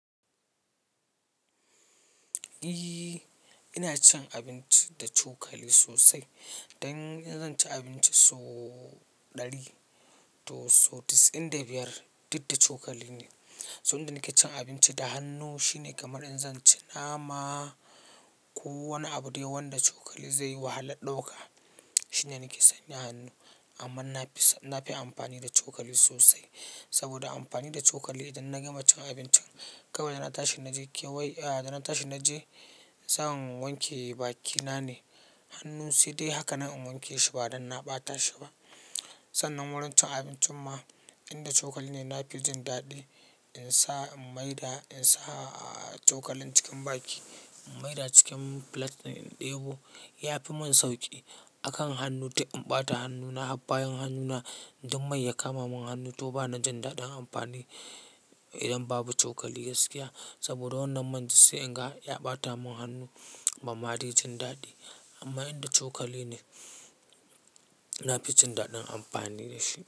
Iyy, ina cin abinci da cokali sosai. Dan in zan ci abinci sau ɗari to sau chasa'in da biyar, duk da cokali ne. So inda nike cin abinci da hannu shine kamar in zan ci nama ko wani abu dai wanda cokali zai wahalan ɗauka shine nike sanya hannu. Amma na fi, na fi amfani da cokali sosai. Saboda amfani da cokali idan na gama cin abincin, kawai da na tashi na je kewaye, a da na tashi na je zan wanke bakina ne. Hannu sai dai haka nan in wanke shi ba dan na ɓata shi ba. Sannan wurin cin abincin ma inda cokali ne na fi jin daɗi. In sa in maida, in sa cokalin cikin baki, maida cikin filet din ɗebo ya fi mun sauƙi. Akan hannu dik in ɓata hannuna, bayan hannuna, duk mai ya kama mun hannu to bana jin daɗin amfani idan babu cokali gaskiya. Saboda wannan man dik sai in ga ya ɓata mun hannu ban ma dai jin daɗi. Amma inda cokali ne na fi jin daɗin amfani da shi.